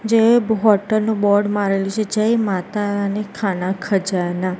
જે હોટલ નુ બોર્ડ મારેલું છે જય માતારાણી ખાના ખજાના.